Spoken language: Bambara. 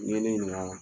N'i ye ne ɲininka